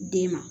Den ma